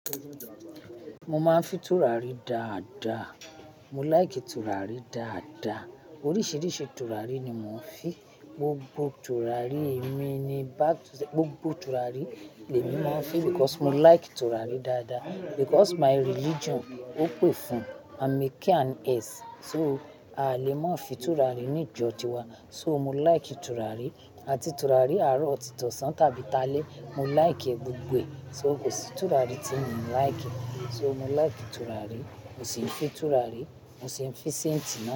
Mo máa ń fi tùràrí dáadáa. Mo like tùràrí dáadáa. Oríṣiríṣi tùràrí ni mò ń fi. Gbogbo tùràrí èmi ni back to say gbogbo tùràrí èmi máa ń fi because mo like tùràrí dáadáa because my religion ó pè fún amiki and s. So a lè má fi tùràrí ní ìjọ tiwa. So mo like tùràrí àti tùràrí àárọ̀ òtí tọ́san tàbí ta lé. Mo like e gbogbo. So kò sí tùràrí tí mi ò like. So mo like tùràrí, mo sì ń fi tùràrí, mo sì ń fi senti.